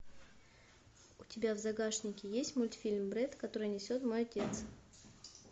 у тебя в загашнике есть мультфильм бред который несет мой отец